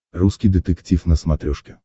русский детектив на смотрешке